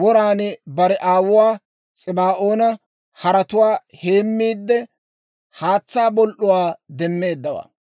woran bare aawuwaa S'ibaa'oona haretuwaa heemiidde haatsaa bol"uwaa demmeeddawaa.